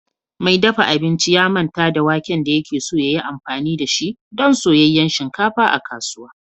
Mai dafa abinci ya manta da waken da yake so ya yi amfani da shi don soyayyen shinkafa a kasuwa